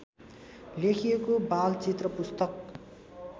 लेखिएको बालचित्र पुस्तक